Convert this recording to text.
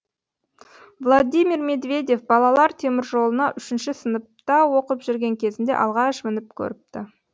владимир медведев балалар теміржолына үшінші сыныпта оқып жүрген кезінде алғаш мініп көріпті